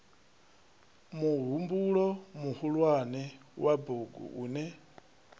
muhumbulo muhulwane wa bugu une